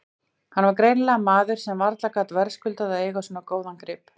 Hann var greinilega maður sem varla gat verðskuldað að eiga svo góðan grip.